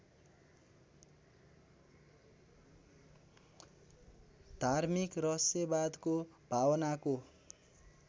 धार्मिक रहस्यवादको भावनाको